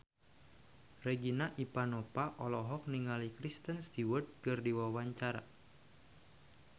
Regina Ivanova olohok ningali Kristen Stewart keur diwawancara